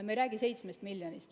Me ei räägi 7 miljonist.